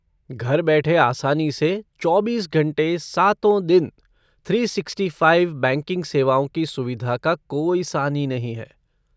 घर बैठे आसानी से चौबीस घंटे, सातों दिन, थ्री सिक्सटी फ़ाइव बैंकिंग सेवाओं की सुविधा का कोई सानी नहीं है।